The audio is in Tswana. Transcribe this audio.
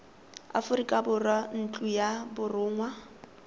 aforika borwa ntlo ya borongwa